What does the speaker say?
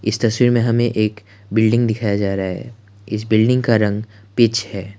इस तस्वीर में हमें एक बिल्डिंग दिखाया जा रहा है इस बिल्डिंग का रंग पिच है।